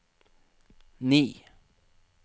ni